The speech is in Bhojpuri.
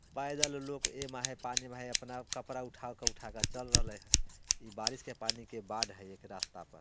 पैदल लोग ए में है पानी में है अपना कपड़ा उठा-उठा कर चल रहले है इ बारिश के पानी के बाढ़ है एक रास्ता पर ।